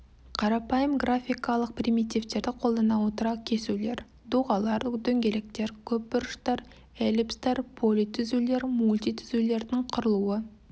қарапайым графикалық примитивтерді қолдана отыра кесулер доғалар дөңгелектер көпбұрыштар эллипстар политүзулер мультитүзулердің құрылуы